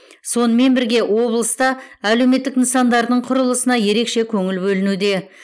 сонымен бірге облыста әлеуметтік нысандардың құрылысына ерекше көңіл бөлінуде